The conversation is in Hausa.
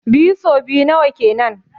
Biyu so biyu nawa kenan?